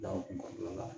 Da kun kɔnɔna la